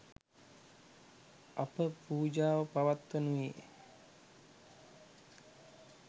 අප පූජාව පවත්වනුයේ